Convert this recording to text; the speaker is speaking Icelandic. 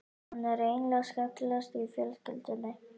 Hann er eiginlega skemmtilegastur í fjölskyldunni.